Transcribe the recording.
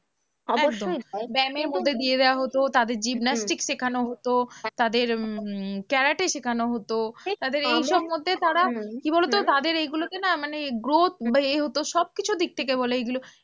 একদম ব্যায়ামের মধ্যে দিয়ে দেওয়া হতো, তাদের জিপন্যাস্টিক শেখানো হতো, তাদের উম উম ক্যারাটে শেখানো হতো, তাদের এইসবের মধ্যে তারা কি বলো তো তাদের এইগুলোকে মানে growth বা এ হতো সবকিছুর দিক থেকে বলো এইগুলো।